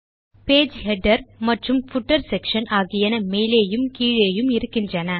page header மற்றும் footer section ஆகியன மேலேயும் கீழேயும் இருக்கின்றன